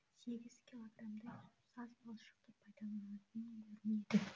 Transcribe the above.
сегіз килограмдай саз балшықты пайдаланатын көрінеді